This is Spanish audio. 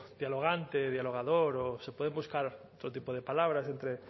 dialogante dialogador o se puede buscar otro tipo de palabras entre